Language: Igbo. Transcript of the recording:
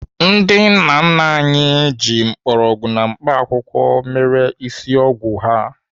Ndị nna nna anyị ji mgbọrọgwụ na mkpaakwụkwọ mere ịsị ọgwụ ha.